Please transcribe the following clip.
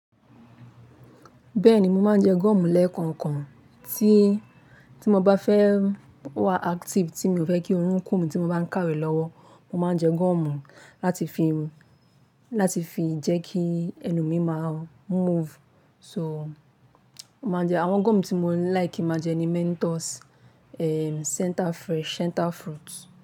Bẹ́ẹ̀ni, mo máa ń jẹ gọ́mù lẹ́ẹ̀kọ̀ọ̀kan tí, tí mo bá fẹ́ wà active, tí mi ò fẹ́ kí orun kún mi tí mo bá ń kàwé lọ́wọ́, mo máa ń jẹ gọ́mù láti fi, láti fi jẹ́ kí ẹnu mi máa move. So, mo máa jẹ àwọn gọ́mù tí mo ń like ki n máa jẹ ni Mentos, ehm, Center Fresh, Center Fruits.